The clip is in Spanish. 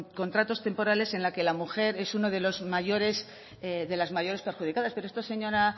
contratos temporales en la que la mujer es uno de las mayores perjudicadas pero esto señora